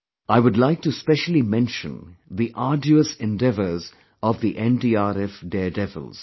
I would like to specially mention the arduous endeavors of the NDRF daredevils